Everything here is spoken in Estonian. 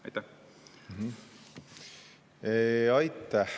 Aitäh!